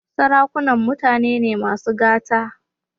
Sarakunan mutane ne masu gata.